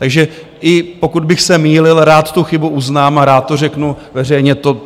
Takže i pokud bych se mýlil, rád tu chybu uznám a rád to řeknu veřejně.